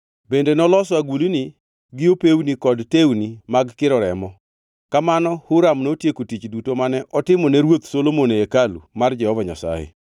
Bende noloso agulni gi opewni kod tewni mag kiro remo. Kamano Huram notieko tich duto mane otimo ne ruoth Solomon e hekalu mar Jehova Nyasaye: